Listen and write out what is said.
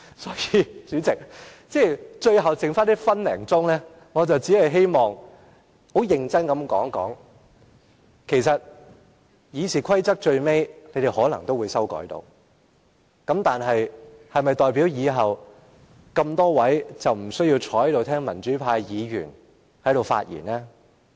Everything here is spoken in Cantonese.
因此，在最後剩下1分多鐘的時間，我只希望很認真地說一說，其實，建制派最終可能修訂《議事規則》，但是否代表他們以後不用坐在這裏聽民主派議員發言？